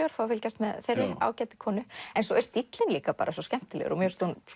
að fá að fylgjast með þeirri ágætu konu en svo er stíllinn líka svo skemmtilegur mér finnst hún